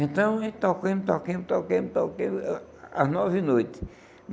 Então, a gente toquemos, toquemos, toquemos, toquemos, as nove noites.